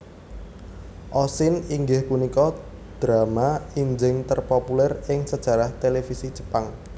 Oshin inggih punika drama injing terpopuler ing sejarah televisi Jepang